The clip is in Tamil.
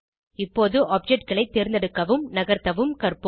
இப்போது objectகளை தேர்ந்தெடுக்கவும் நகர்த்தவும் கற்போம்